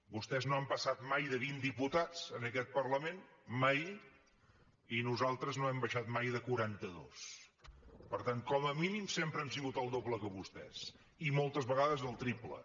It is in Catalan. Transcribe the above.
vostès no han passat mai de vint diputats en aquest parlament mai i nosaltres no hem baixat mai de quaranta dos per tant com a mínim sempre hem sigut el doble que vostès i moltes vegades el triple